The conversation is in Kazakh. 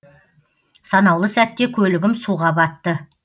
санаулы сәтте көлігім суға батты